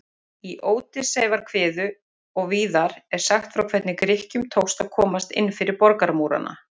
Í Ódysseifskviðu og víðar er sagt frá hvernig Grikkjum tókst að komast inn fyrir borgarmúrana.